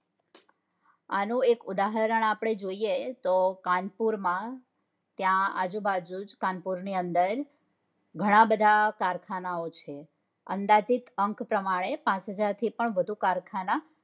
આનું એક ઉદાહરણ આપણે જોઈએ તો કાનપુર માં ત્યાં આજુબાજુ કાનપુર ની અંદર ઘણાબધા કારખાના ઓ છે અંદાજિત અંક પ્રમાણે પાંચ હાજર થી પણ વધુ કારખાના